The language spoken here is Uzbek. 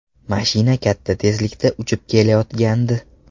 Mashina katta tezlikda uchib kelayotgandi.